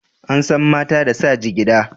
An san mata da sa jigida.